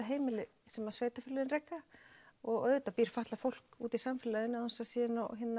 heimili sem sveitarfélögin reka og auðvitað býr fatlað fólk úti í samfélaginu án þess að það sé